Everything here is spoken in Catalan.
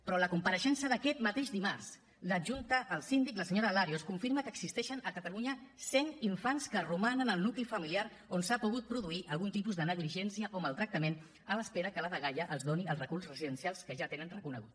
però a la compareixença d’aquest mateix dimarts l’adjunta al síndic la senyora larios confirma que existeixen a catalunya cent infants que romanen al nucli familiar on s’ha pogut produir algun tipus de negligència o maltractament a l’espera que la dgaia els doni el recurs residencial que ja tenen reconegut